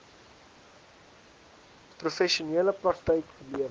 professionele praktyk gelewer